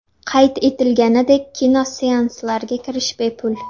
Qayd etilganidek, kinoseanslarga kirish bepul.